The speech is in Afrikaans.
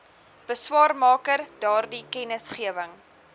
beswaarmaker daardie kennisgewing